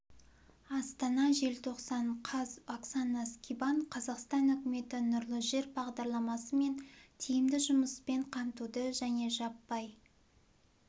астана желтоқсан қаз оксана скибан қазақстан үкіметі нұрлы жер бағдарламасы мен тиімді жұмыспен қамтуды және жаппай